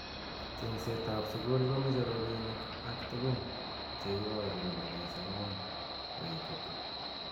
Chengset ab sukul komeche robinik ak tukun cheiboru kole kisoman koitita.